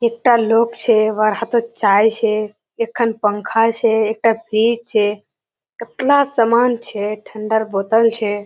एकटा लोक छे वार हाथोत चाये छे एक पंखा छे एकटा फ्रिज छे केतला सामान छे ठंडार बोतल छे।